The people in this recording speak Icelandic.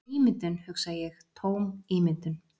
Ímyndun, hugsa ég, tóm ímyndun.